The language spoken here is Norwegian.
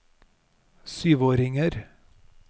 syvåringer